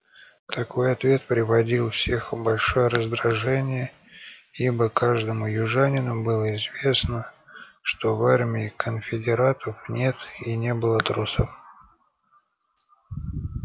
какой ответ приводил всех в большое раздражение ибо каждому южанину было известно что в армии конфедератов нет и не было трусов